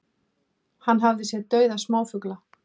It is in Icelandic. Hann hafi séð dauða smáfugla